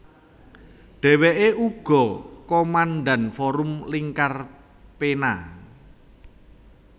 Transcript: Dheweke uga komandan Forum Lingkar Pena